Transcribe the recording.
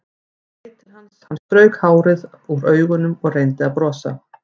Ég leit til hans, hann strauk hárið úr augunum og reyndi að brosa.